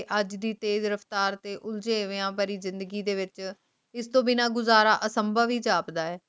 ਤੇ ਇਸ ਤੂੰ ਹੈ ਚਪਟਾ ਹੈ ਤੇ ਤੇਰਾ ਸਾਲ ਤੋਂ ਪਹਿਲਾ ਜੱਦੋ ਭਾਰਤ